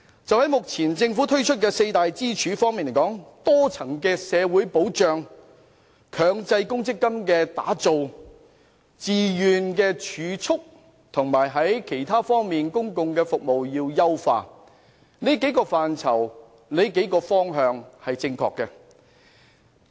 就目前政府提出的多支柱退休模式而言，即包括多層的社會保障、強積金、自願儲蓄，以及其他方面的公共服務，這些範疇和方向均是正確的，但須予以優化。